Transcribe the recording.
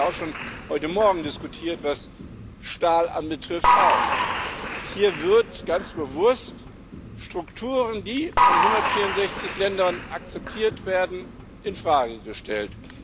Wir haben das schon heute morgen diskutiert, was Stahl anbelangt. Hier werden ganz bewusst Strukturen, die von 164 Ländern akzeptiert werden, in Frage gestellt.